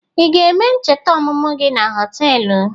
Ị ga-eme ncheta ọmụmụ gị na họtelụ?